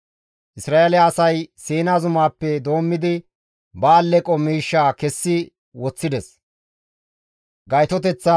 Isra7eele asay Siina zumaappe doommidi ba alleqo miishshaa kessi woththides.